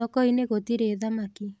Thokoinĩ gũtirĩ thamaki.